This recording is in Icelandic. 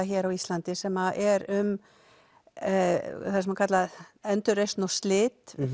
hér á Íslandi sem er um það sem er kallað endurreisn og slit